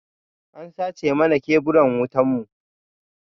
An sace mana keburan wutan mu.